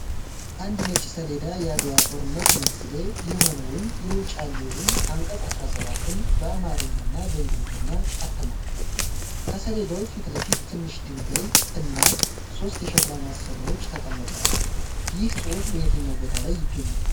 አንድ ነጭ ሰሌዳ የአድዋ ጦርነት መንስኤ የሆነውን የውጫሌ ውል አንቀጽ 17 ን በአማርኛ እና በእንግሊዝኛ አትሟል። ከሰሌዳው ፊት ለፊት ትንሽ ድንጋይ እና ሶስት የሸክላ ማሰሮዎች ተቀምጠዋል። ይህ ጽሑፍ በየትኛው ቦታ ላይ ይገኛል?